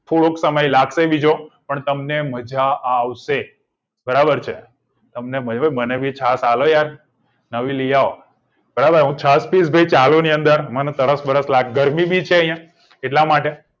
થોડોક સમય લાગશે બીજો પણ તમને મજા આવશે બરાબર છે તમને નહી મને ભી સાથ આલો યાર નવી લીયાઓ બરાબર છત્રીસ થી ચાલીસ ની અંદર મન તરસ બરસ લાગે ગરમીની ભી છે અહિયાં એટલા માટે